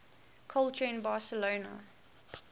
culture in barcelona